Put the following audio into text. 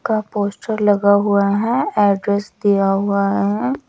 का पोस्टर लगा हुआ है एड्रेस दिया हुआ है।